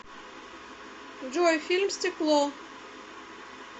джой фильм стекло